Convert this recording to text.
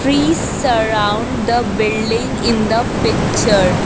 trees surround the building in the picture.